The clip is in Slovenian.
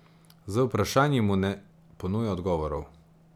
Z vprašanji mu ne ponuja odgovorov.